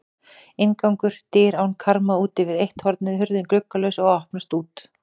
Inngangur: dyr án karma útvið eitt hornið, hurðin gluggalaus og opnaðist út.